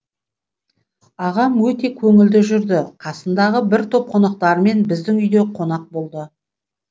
ағам өте көңілді жүрді қасындағы бір топ қонақтарымен біздің үйде қонақ болды